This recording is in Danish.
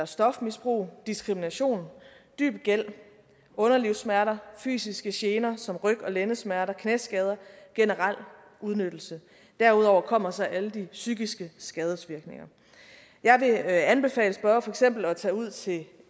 stofmisbrug diskrimination dyb gæld underlivssmerter fysiske gener som ryg og lændesmerter knæskader generel udnyttelse derudover kommer så alle de psykiske skadesvirkninger jeg vil anbefale spørgeren for eksempel at tage ud til